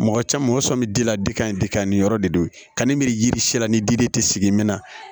Mɔgɔ caman mɔgɔ sɔ bɛ di la de ka ɲi de ka ni yɔrɔ de don ka ni miri yiri si la ni diden tɛ sigi min na